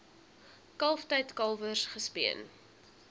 kalftyd kalwers gespeen